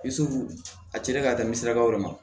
a cilen ka tɛmɛ sirabaw de kan